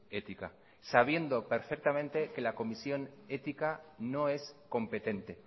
ética sabiendo perfectamente que la comisión ética no es competente